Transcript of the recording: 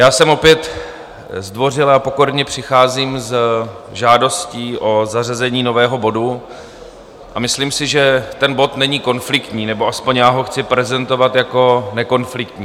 Já sem opět zdvořile a pokorně přicházím s žádostí o zařazení nového bodu, a myslím si, že ten bod není konfliktní, nebo aspoň já ho chci prezentovat jako nekonfliktní.